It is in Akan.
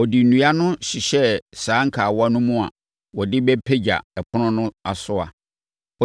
Ɔde nnua no hyehyɛɛ saa nkawa no mu a wɔde bɛpagya ɛpono no asoa.